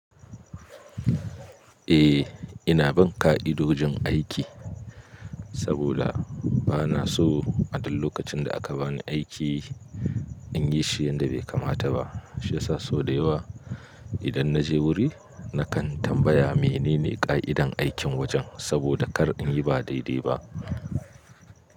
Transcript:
Eh ina bin ƙa'idojin aiki, saboda, bana so a duk lokacin da aka bani aiki, in yi shi yanda bai kamata ba, shi ya sa sau da yawa, idan na je wuri na kan tambaya menene ƙa'idan aikin wajen, saboda kar in yi ba dai-dai ba.